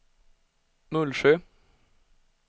Mullsjö